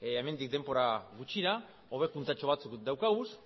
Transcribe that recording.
hemendik denbora gutxira hobekuntza batzuk dauzkagu